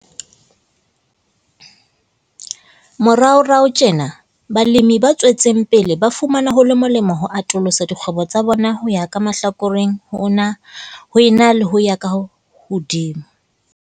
Moraorao tjena, balemi batswetseng pele ba fumana ho le molemo ho atolosa dikgwebo tsa bona ho ya ka mahlakoreng ho ena le ho ya hodimo.